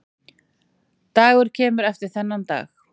Dagur kemur eftir þennan dag.